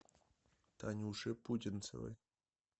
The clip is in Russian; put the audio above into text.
танюши путинцевой